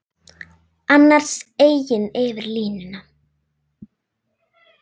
Annars eigin yfir línuna.